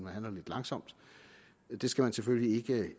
handler lidt langsomt det skal man selvfølgelig